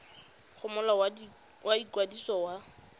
go molao wa ikwadiso wa